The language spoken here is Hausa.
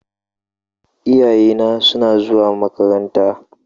Iyayena suna zuwa makaranta.